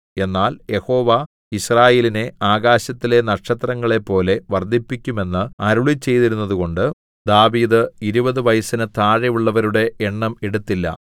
എന്നാൽ യഹോവ യിസ്രായേലിനെ ആകാശത്തിലെ നക്ഷത്രങ്ങളെപ്പോലെ വർദ്ധിപ്പിക്കും എന്നു അരുളിച്ചെയ്തിരുന്നതുകൊണ്ട് ദാവീദ് ഇരുപതു വയസ്സിന് താഴെയുള്ളവരുടെ എണ്ണം എടുത്തില്ല